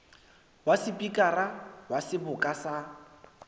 wa sepikara wa seboka sa